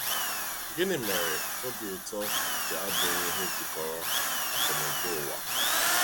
Gịnị mere obi ụtọ ji abụghị ihe jikọrọ akụnụba ụwa?